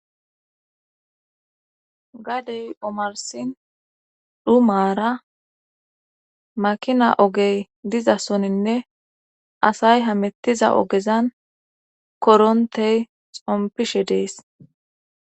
Gadey omarsin dhumaara makina ogey diza soninne asay hamettiza ogezan korontey xompishe dees